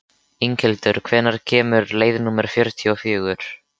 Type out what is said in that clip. Inghildur, hvenær kemur leið númer fjörutíu og fjögur?